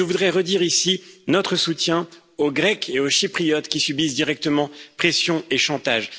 Et je voudrais redire ici notre soutien aux Grecs et aux Chypriotes qui subissent directement pressions et chantages.